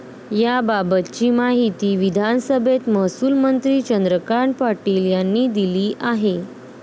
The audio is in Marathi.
याबाबतची माहिती विधानसभेत महसूलमंत्री चंद्रकांत पाटील यांनी दिली आहे.